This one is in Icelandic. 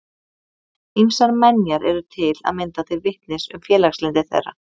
Ýmsar menjar eru til að mynda til vitnis um félagslyndi þeirra.